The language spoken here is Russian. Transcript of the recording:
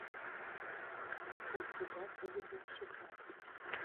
у тебя будет мексиканец